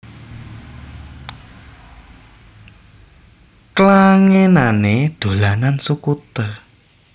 Klangenané dolanan skuter